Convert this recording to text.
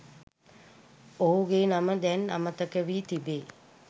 ඔහුගේ නම දැන් අමතකවී තිබේ.